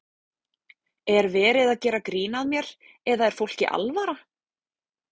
Er verið að gera grín að mér eða er fólki alvara?